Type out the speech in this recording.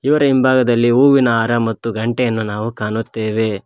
ಇವರ ಹಿಂಭಾಗದಲ್ಲಿ ಹೂವಿನ ಹಾರ ಮತ್ತು ಗಂಟೆಯನ್ನು ನಾವು ಕಾಣುತ್ತೇವೆ.